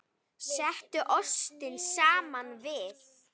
Settu ostinn saman við.